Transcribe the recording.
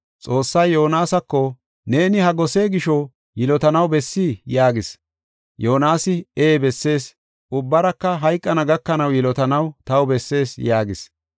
Xoossay Yoonasako, “Neeni ha gose gisho yilotanaw bessii?” yaagis. Yoonasi, “Ee bessees; ubbaraka hayqana gakanaw yilotanaw taw bessees” yaagis.